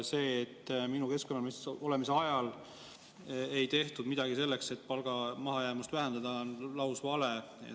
See, et minu keskkonnaministriks olemise ajal ei tehtud midagi selleks, et palga mahajäämust vähendada, on lausvale.